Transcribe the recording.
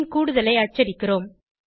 பின் கூடுதலை அச்சடிக்கிறோம்